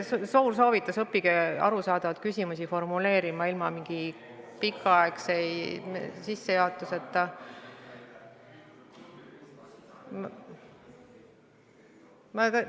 Suur soovitus: õppige arusaadavalt küsimusi formuleerima, ja ilma mingi pika sissejuhatuseta.